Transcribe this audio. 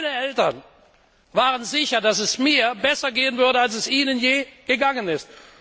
Meine Eltern waren sicher, dass es mir besser gehen würde als es ihnen je gegangen ist.